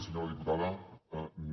senyora diputada no